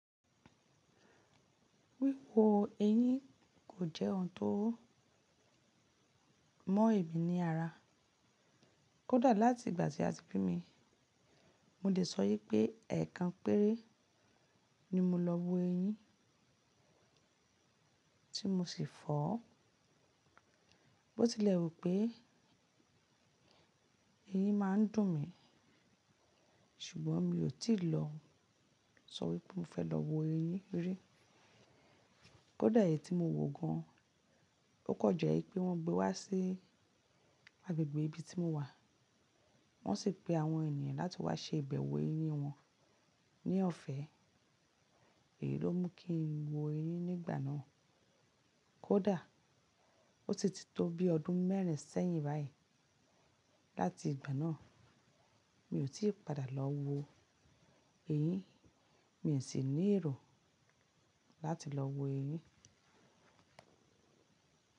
Wíwo eyín kò jẹ́ ohun tó mọ̀ èmi ní ara. Kódà láti ìgbà tí a ti bí mi, mo lè sọ wipé ẹ̀ẹ̀kan péré ni mo lọ wo eyín tí mo sì fọ́. Bó tilẹ̀ wu pé eyín má a ń dùn mí ṣùgbọ́n mi ò tíì lọ sọ wípé mo fẹ́ lọ wo eyín rí. Kódà èyí tí mo wò gan an, ó kan je wipé wọ́n gbé wá sí agbègbè ibi tí mo wà, wọ́n sì pe àwọn ènìyàn láti wá ṣe ìbẹ̀wọ̀ eyín wọn ní ọ̀fẹ́. Èyí ló mú kí n wo eyín nígbà náà. Kódà, o titi tó bí ọdún mẹ́rin sẹ́yìn báyìí láti ìgbà náà, mi ò tí padà lọ wo eyín, mi ò sì ní èrò láti lọ wo eyín.